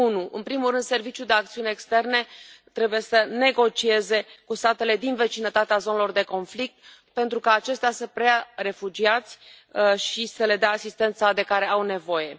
În primul rând, Serviciul de acțiune externă trebuie să negocieze cu statele din vecinătatea zonelor de conflict pentru ca acestea să preia refugiați și să le dea asistența de care au nevoie.